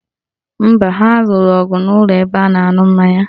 Mba, ha lụrụ ọgụ n'ụlọ ebe a na-aṅụ mmanya